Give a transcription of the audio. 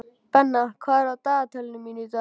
Benna, hvað er á dagatalinu í dag?